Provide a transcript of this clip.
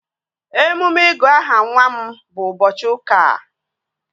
Emume ịgụ aha nwa m bụ ụbọchị ụka a